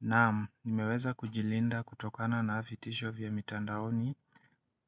Naam nimeweza kujilinda kutokana na vitisho vya mitandaoni